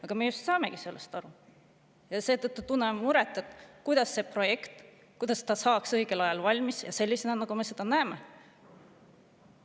Aga me just saamegi sellest aru ja seetõttu tunnemegi muret, kuidas see projekt saada õigel ajal valmis sellisena, nagu meie seda näeme.